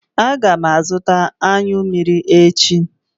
Aga m azụta anyụ mmiri echi.